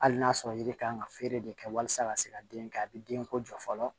Hali n'a sɔrɔ yiri kan ka feere de kɛ walasa ka se ka den kɛ a bɛ denko jɔ fɔlɔ